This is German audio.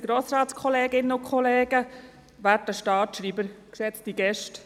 Jürg Iseli, Ihr Präsidialjahr endet heute.